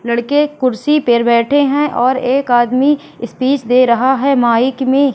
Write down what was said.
लड़के कुर्सी पे बैठे हैं और एक आदमी स्पीच दे रहा है माइक में।